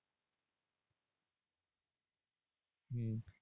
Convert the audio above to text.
হম